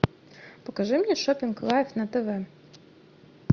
покажи мне шоппинг лайф на тв